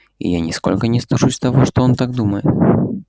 и я нисколько не стыжусь того что он так думает